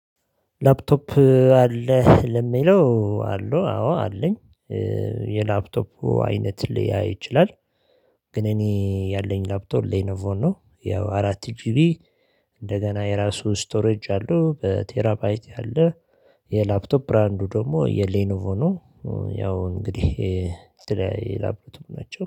ላፕቶፕ አለህ ለሚለው አሉ አዎ አለኝ የላፕቶፑ አይነት ሊያይ ይችላል። ግን እኔ ያለኝ ላፕቶ ሌኖቮን ነው። ያው አራት ጂቢ እንደገና የራሱ ስቶሬጅ አለው በቴራባይት ያለ። የላፕቶፕ ብራንዱ ደግሞ የሌኖቮኑ ያው እንግዲህ የላብቶፕ ናቸው